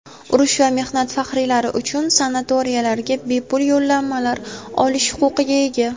urush va mehnat faxriylari uchun sanatoriylariga bepul yo‘llanmalar olish huquqiga ega.